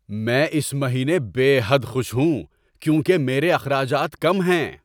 میں اس مہینے بے حد خوش ہوں کیونکہ میرے اخراجات کم ہیں۔